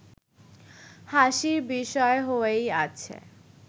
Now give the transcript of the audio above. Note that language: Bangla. হাসির বিষয় হয়েই আছে